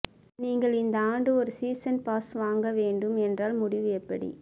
நீங்கள் இந்த ஆண்டு ஒரு சீசன் பாஸ் வாங்க வேண்டும் என்றால் முடிவு எப்படி